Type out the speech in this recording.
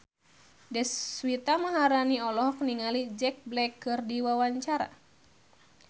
Deswita Maharani olohok ningali Jack Black keur diwawancara